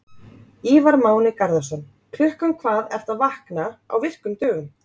Ívar Máni Garðarsson Klukkan hvað ertu að vakna á virkum dögum?